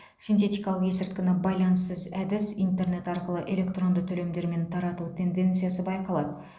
синтетикалық есірткіні байланыссыз әдіс интернет арқылы электронды төлемдермен тарату тенденциясы байқалады